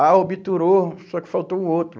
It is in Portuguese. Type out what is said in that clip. Ah, obturou, só que faltou o outro.